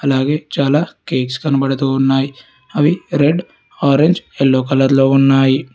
అలాగే చాలా కేక్స్ కనబడుతూ ఉన్నాయ్ అవి రెడ్ ఆరెంజ్ ఎల్లో కలర్ లో ఉన్నాయి.